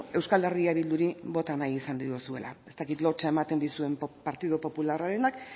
euskal herria bilduri bota nahi izan diozuela ez dakit lotsa ematen dizuen partidu popularrarenak